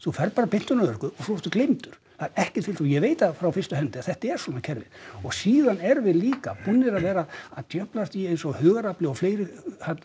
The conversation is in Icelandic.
þú ferð bara beint inn á örorku og svo ertu gleymdur það er ekkert til og ég veit það frá fyrstu hendi að þetta er svona kerfið og síðan erum við líka búin að vera að djöflast í eins og Hugarafli og fleiru